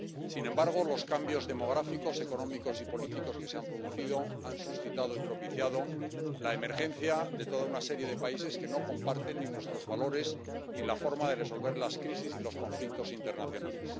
Sin embargo, los cambios demográficos, económicos y políticos que se han producido han suscitado y propiciado la emergencia de toda una serie de países que no comparten ni nuestros valores ni la forma de resolver las crisis y los conflictos internacionales.